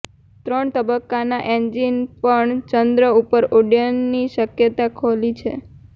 ત્રણ તબક્કાના એન્જિન પણ ચંદ્ર પર ઉડ્ડયનની શક્યતા ખોલી છે